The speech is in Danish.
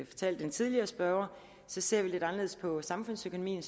fortalte den tidligere spørger ser vi lidt anderledes på samfundsøkonomien